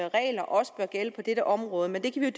regler også bør gælde på dette område men det kan vi